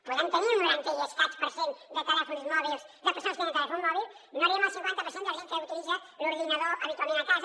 podem tenir un noranta i escaig per cent de telèfons mòbils de persones que tenen telèfon mòbil no arribem al cinquanta per cent de la gent que utilitza l’ordinador habitualment a casa